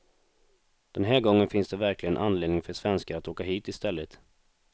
Den här gången finns det verkligen anledning för svenskar att åka hit i stället.